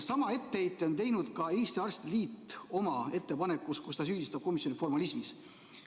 Sama etteheite on teinud ka Eesti Arstide Liit oma ettepanekus, kus ta süüdistab komisjoni formalismis.